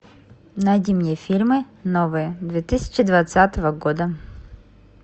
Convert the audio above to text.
найди мне фильмы новые две тысячи двадцатого года